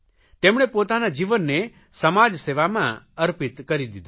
તેમણે પોતાના જીવનને સમાજસેવામાં અર્પિત કરી દીધું